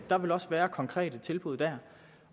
der vil også være konkrete tilbud der